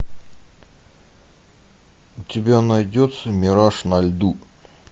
у тебя найдется мираж на льду